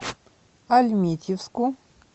альметьевску